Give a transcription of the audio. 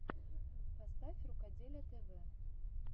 поставь рукоделие тв